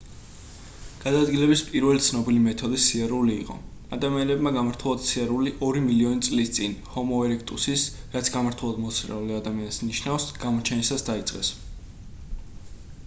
გადაადგილების პირველი ცნობილი მეთოდი სიარული იყო. ადამიანებმა გამართულად სიარული ორი მილიონი წლის წინ ჰომო ერექტუსის რაც გამართულად მოსიარულე ადამიანს ნიშნავს გამოჩენისას დაიწყეს